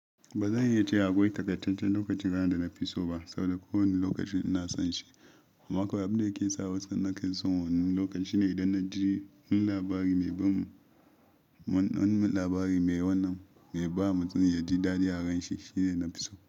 Ba zan iya ce akwai takaitaccen lokacin rana da na fi so ba, saboda kowane lokaci ina son shi. Amma kawai abin da ke sa wasu na kai son wannan lokacin shine idan na ji wani labari mai ba mutum ya ji daɗi aron shi shine na fi so.